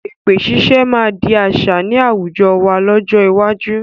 Èpè ṣiṣẹ́ máa di àṣà ni àwùjọ wá lọ́jọ́ iwájú